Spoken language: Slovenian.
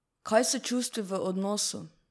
Kaj s čustvi v odnosu?